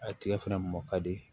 A tigɛ fana mɔ ka di